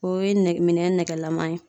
O ye nɛgɛ minɛn nɛgɛlaman ye